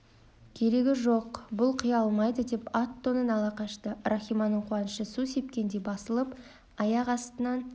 керегі жоқ бұл құя алмайды деп ат-тонын ала қашты рахиманың қуанышы су сепкендей басылып аяқ астынан